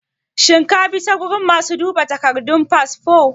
shin kabi ta gurin masu duba takardun fasfo?